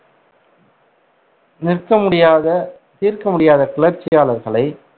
நிற்க முடியாத தீர்க்க முடியாத கிளர்ச்சியாளர்களை